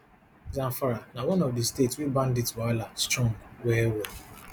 zamfara na one of di states wey bandit wahala strong well well